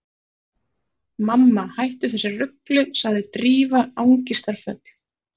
Mamma, hættu þessu rugli sagði Drífa angistarfull.